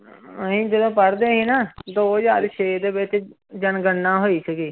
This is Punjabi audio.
ਅਸੀਂ ਜਦੋਂ ਪੜ੍ਹਦੇ ਸੀ ਨਾ ਦੋ ਹਜ਼ਾਰ ਛੇ ਦੇ ਵਿੱਚ ਜਨਗਣਨਾ ਹੋਈ ਸੀਗੀ।